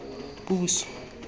puso